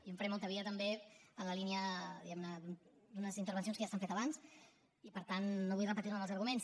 jo en faré molta via també en la línia diguem ne d’unes intervencions que ja s’han fet abans i per tant no vull repetir me en els arguments